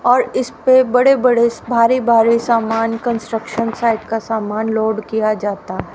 और इसपे बड़े बड़े भारी भारी समान कंस्ट्रक्शन साइट का समान लोड किया जाता है।